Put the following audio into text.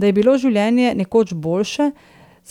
Da je bilo življenje nekoč boljše,